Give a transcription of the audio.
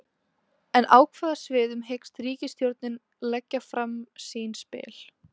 En á hvaða sviðum hyggst ríkisstjórnin leggja fram sín spil?